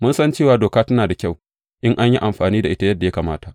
Mun san cewa doka tana da kyau in an yi amfani da ita yadda ya kamata.